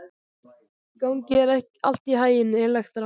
Gangi þér allt í haginn, Elektra.